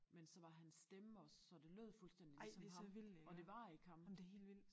Men så var han stemme også så det lød fuldstændig ligesom ham og det var ikke ham